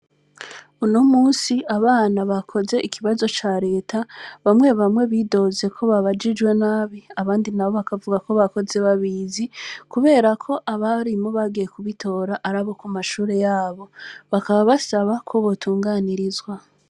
Unomunsi abana bakoze ikibazo ca leta, bamwe bamwe bidoze ko babajijwe nabi; abandi nabo bakavuga ko bakoze babizi, kubera ko abarimu bagiye kubitora ari abo ku mashure yabo; bakaba basaba ko botunganirizwa